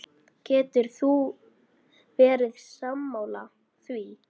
Getur þú verið sammála því?